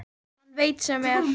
Hann veit sem er.